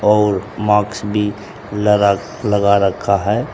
और मास्क भी लगा लगा रखा है।